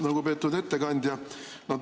Lugupeetud ettekandja!